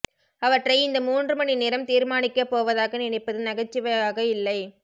அவற்றை இந்த மூன்று மணி நேரம் தீர்மானிக்கப்போவதாக நினைப்பது நகைச்சுவையாக இல்லை